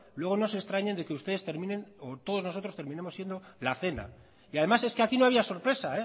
luego no se extrañen de que ustedes terminen o todos nosotros terminemos siendo la cena y además es que aquí no había sorpresa